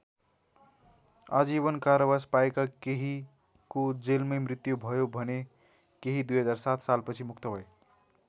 आजीवन कारावास पाएका केहीको जेलमै मृत्यु भयो भने केही २००७ सालपछि मुक्त भए।